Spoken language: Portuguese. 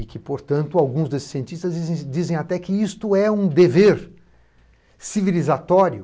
E que, portanto, alguns desses cientistas dizem até que isto é um dever civilizatório